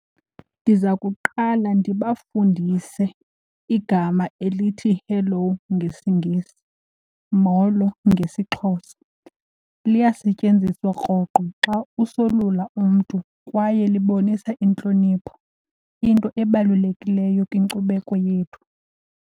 Ndiza kuqala ndibafundise igama elithi hello ngesiNgesi, molo ngesiXhosa. Liyasetyenziswa rhoqo xa usolula umntu kwaye libonisa intlonipho, into ebalulekileyo kwinkcubeko yethu.